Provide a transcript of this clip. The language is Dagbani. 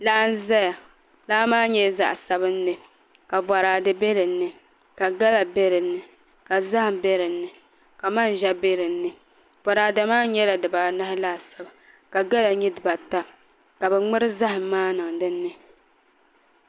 Laa n ʒɛya laa maa nyɛla zaɣ sabinli ka boraadɛ bɛ dinni ka gala bɛ dinni ka zaham bɛ dinni ka manʒa bɛ dinni boraadɛ maa nyɛla dibaanahi laasabu ka gala nyɛ dibata ka bi ŋmuri zaham maa niŋ dinni